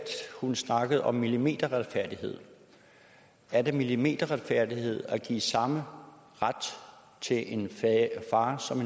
hun snakkede om millimeterretfærdighed er det millimeterretfærdighed at give samme ret til en far som